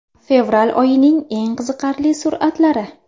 Fevral oyining eng qiziqarli suratlari.